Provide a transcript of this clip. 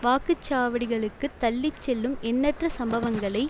வாக்குச்சாவடிகளுக்குத் தள்ளி செல்லும் எண்ணற்ற சம்பவங்களை